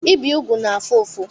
Ibi úgwù na-afụ ụfụ.